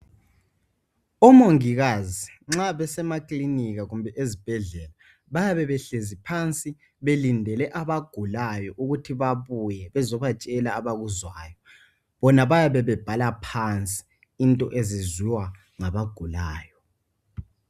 Omongikazi nxa besemakilinika kumbe ezibhedlela bayabe behlezi phansi belindele abagulayo ukuthi babuye bezobatshela abakuzwayo bona bayabe bebhala phansi into eziziwa ngabagulayo